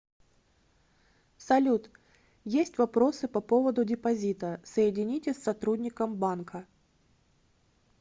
салют есть вопросы по поводу депозита соедините с сотрудником банка